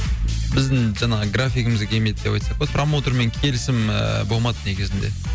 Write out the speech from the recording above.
біздің жаңағы графигімізге келмеді деп айтсақ болады промоутермен келісім ыыы болмады негізінде